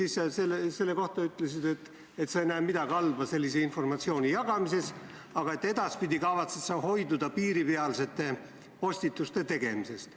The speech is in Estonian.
Sa selle kohta ütlesid, et sa ei näe midagi halba sellise informatsiooni jagamises, aga et edaspidi kavatsed sa hoiduda piiripealsete postituste tegemisest.